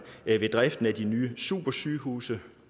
ved driften af de nye supersygehuse